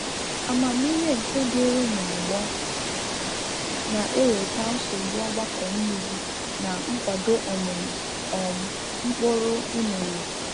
Amamihe nke dịrị na-ọgbọ na eweta nsogbu ogbako mmiri na nkwado ọmịmị um mkpụrụ unere